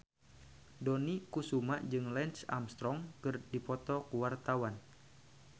Dony Kesuma jeung Lance Armstrong keur dipoto ku wartawan